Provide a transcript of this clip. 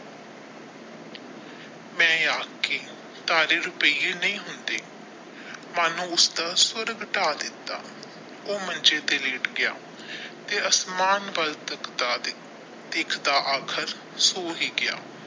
ਮੈ ਅਖਾਂ ਕੇ ਤਾਰੇ ਰੁਪਈਏ ਨਹੀ ਹੁੰਦੇ ਮਨ ਉਸਦਾ ਸਵਰਗ ਢਾਹ ਦਿੱਤਾ ਉਹ ਮੰਜੇ ਤੇ ਲੇਟ ਗਿਆ ਤੇ ਅਸਮਾਨ ਵੱਲ ਤੱਕਦਾ ਤੱਕਦਾ ਆਖ਼ਰ ਸੋ ਹੀ ਗਿਆ।